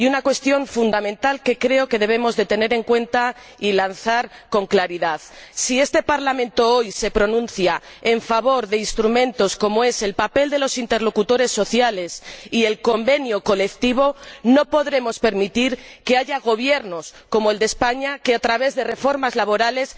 Y una cuestión fundamental que creo que debemos de tener en cuenta y lanzar con claridad si este Parlamento, hoy, se pronuncia en favor de instrumentos como el papel de los interlocutores sociales y el convenio colectivo, no podremos permitir que haya gobiernos, como el de España, que, a través de reformas laborales,